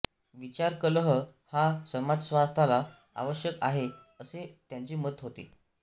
विचारकलह हा समाजस्वास्थ्याला आवश्यक आहे असे त्यांचे मत होते